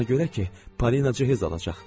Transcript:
Ona görə ki, Parinacı həzz alacaq.